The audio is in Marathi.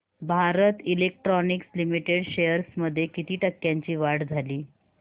भारत इलेक्ट्रॉनिक्स लिमिटेड शेअर्स मध्ये किती टक्क्यांची वाढ झाली